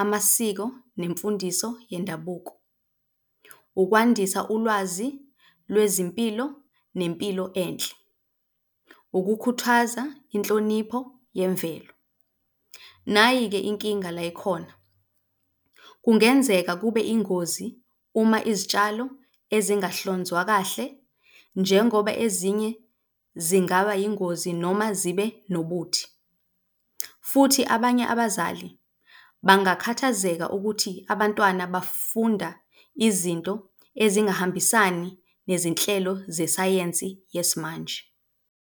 amasiko nemfundiso yendabuko, ukwandisa ulwazi lwezimpilo nempilo enhle, ukukhuthaza inhlonipho yemvelo. Nayi-ke inkinga layikhona, kungenzeka kube ingozi uma izitshalo ezingahlonzwa kahle njengoba ezinye zingaba yingozi noma zibe nobuthi. Futhi abanye abazali bangakhathazeka ukuthi abantwana bafunda izinto ezingahambisani nezinhlelo zesayensi yesimanje.